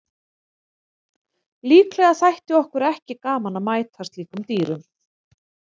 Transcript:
Líklega þætti okkur ekki gaman að mæta slíkum dýrum.